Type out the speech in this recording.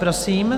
Prosím.